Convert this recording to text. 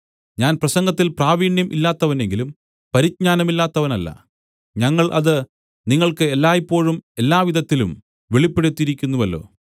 ഞാൻ പ്രസംഗത്തിൽ പ്രാവീണ്യം ഇല്ലാത്തവനെങ്കിലും പരിജ്ഞാനമില്ലാത്തവനല്ല ഞങ്ങൾ അത് നിങ്ങൾക്ക് എല്ലായ്പോഴും എല്ലാവിധത്തിലും വെളിപ്പെടുത്തിയിരിക്കുന്നുവല്ലോ